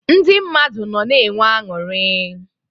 Ndị mmadụ nọ na enwe anụrị.